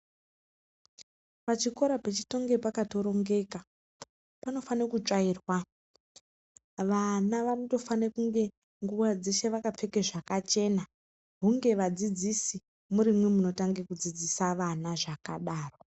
Pachikora pechitonge pakatorongeka panofane kutsvairwa vana vanotofane kunge nguwa dzeshe vakapfeke zvakachena hunge vadzidzisi murimwi munotange kudzidzise vana zvakadaro.